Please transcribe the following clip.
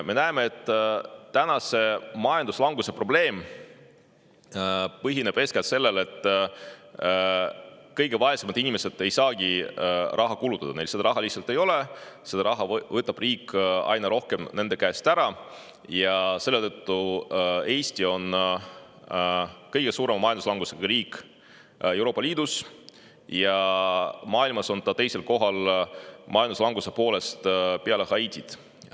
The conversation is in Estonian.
Me näeme, et majanduslanguse probleem põhineb eeskätt sellel, et kõige vaesemad inimesed ei saagi raha kulutada, sest neil seda raha lihtsalt ei ole, riik võtab aina rohkem raha nende käest ära, ja selle tõttu on Eesti kõige suurema majanduslangusega riik Euroopa Liidus ja maailmas on ta majanduslanguse poolest teisel kohal, peale Haitit.